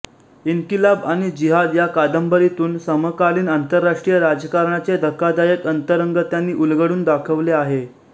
इन्किलाब आणि जिहाद या कादंबरीतून समकालीन आंतरराष्ट्रीय राजकारणाचे धक्कादायक अंतरंग त्यांनी उलगडून दाखवले आहे